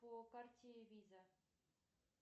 по карте виза